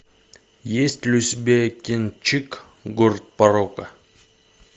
есть ли у тебя кинчик город порока